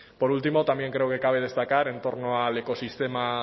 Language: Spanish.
por último también creo que cabe destacar en torno al ecosistema